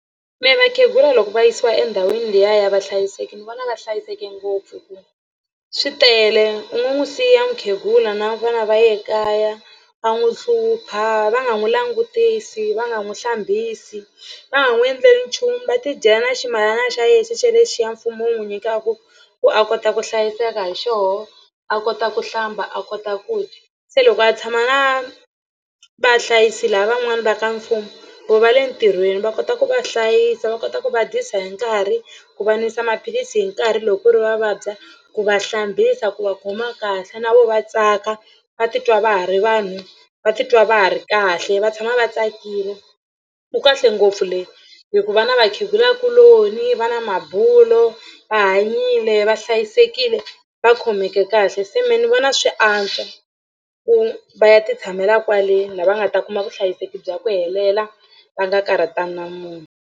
Mi vakhegula loko va yisiwa endhawini liya ya vahlayiseki ni vona va hlayiseke ngopfu hi ku swi tele u nga n'wi siya mukhegula na vona va ya kaya va n'wi hlupha va nga n'wi langutisi va nga n'wi hlambisi va n'wi endle nchumu va tidyela na ximalana xa yena xexelexiya mfumo wu n'wi nyikaka ku a kota ku hlayiseka hi xoho a kota ku hlamba a kota ku dya se loko a tshama na vahlayisi lavan'wani va ka mfumo vo va le ntirhweni va kota ku va hlayisa va kota ku va dyisa hi nkarhi ku va nwisa maphilisi hi nkarhi loko ku ri va vabya ku va hlambisa ku va khoma kahle na vo va tsaka va titwa va ha ri vanhu va titwa va ha ri kahle va tshama va tsakile ku kahle ngopfu le hi ku va na vakhegulakuloni va na mabulo va hanyile va hlayisekile va khomeke kahle se mehe ni vona swi antswa ku va ya titshamela kwale laha va nga ta kuma vuhlayiseki bya ku helela va nga karhatani wa munhu.